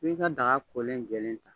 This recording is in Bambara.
i bi ka daga kolen jɛlɛn ta.